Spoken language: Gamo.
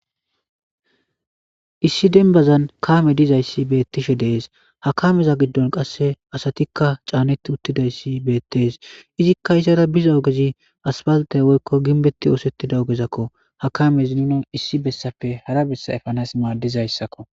Issi denbazan kaame dizayssi beettishe dees hakameza giddon qasse asatikka caanetti uttidayssi beettees izikka isara biza ogezi aspalatay woykko ginbetti oosettida ogezakko hakamezi nuna issi bessappe hara bessa efanas maaldizayssakko